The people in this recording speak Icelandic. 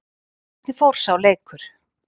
Hvernig fór sá leikur?